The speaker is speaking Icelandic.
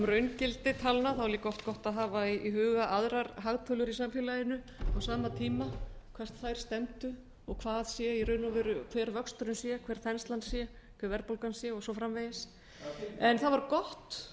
raungildi talna er líka oft gott að hafa í huga aðrar hagtölur í samfélaginu á sama tíma hvert þær stefndu og hver vöxturinn sé hver þenslan sé hver verðbólgan sé og svo framvegis það